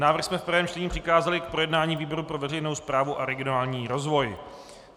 Návrh jsme v prvním čtení přikázali k projednání výboru pro veřejnou správu a regionální rozvoj.